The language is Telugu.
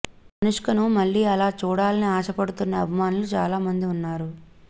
అనుష్కను మళ్లీ అలా చూడాలని ఆశపడుతున్న అభిమానులు చాలా మంది ఉన్నారు